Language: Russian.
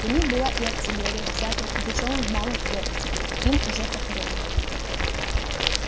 при них была и артиллерия взятая пугачёвым в малых крепостях им уже покорённых